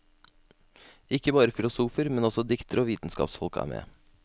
Ikke bare filosofer, men også diktere og vitenskapsfolk er med.